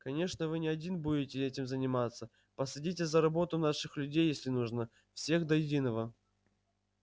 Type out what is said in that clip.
конечно вы не один будете этим заниматься посадите за работу наших людей если нужно всех до единого